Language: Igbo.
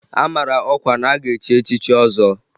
A mara ọkwa na-aga echi echichi ọzọ